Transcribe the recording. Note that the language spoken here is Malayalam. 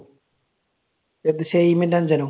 ഏത്? ഷഹീമിന്റെ അനുജനോ?